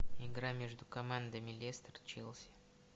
игра между командами лестер челси